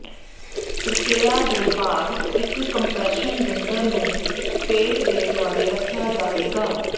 ਪ੍ਰਕਿਰਿਆ ਦੇ ਬਾਅਦ ਇੱਕ ਕੰਪਰੈਸ਼ਨ ਬਿੰਡਰ ਨੂੰ ਪੇਟ ਦੇ ਦੁਆਲੇ ਰੱਖਿਆ ਜਾਵੇਗਾ